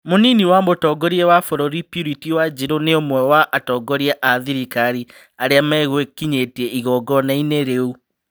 Mũnini wa mũtongoria wa bũrũri Purity Wanjiru nĩũmwe wa atongoria a thirikari arĩa megwĩkinyĩtie igongona-inĩ rĩu